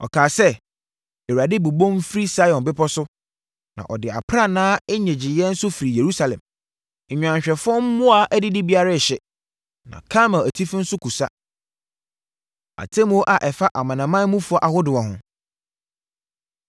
Ɔkaa sɛ: “ Awurade bobom firi Sion bepɔ so na ɔde aprannaa nnyegyeeɛ nso firi Yerusalem; nnwanhwɛfoɔ mmoa adidibea rehye na Karmel atifi nso kusa.” Atemmuo A Ɛfa Amanamanmufoɔ Ahodoɔ Ho